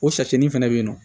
O sasinin fɛnɛ be yen nɔ